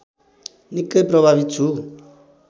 निकै प्रभावित छु